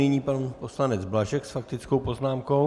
Nyní pan poslanec Blažek s faktickou poznámkou.